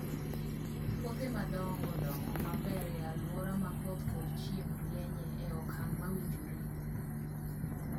Puothe madongo dongo maber e alwora ma koth kod chieng' rieny e okang' mowinjore.